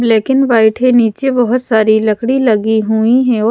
Black and white है नीचे बहुत सारी लकड़ी लगी हुई है।